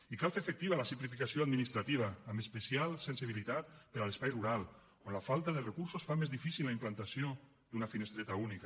i cal fer efectiva la simplificació administrativa amb especial sensibilitat per a l’espai rural on la falta de recursos fa més difícil la implantació d’una finestreta única